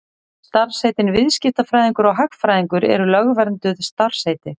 Starfsheitin viðskiptafræðingur og hagfræðingur eru lögvernduð starfsheiti.